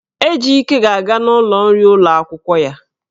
Ejike ga-aga n'ụlọ nri ụlọ akwụkwọ ya.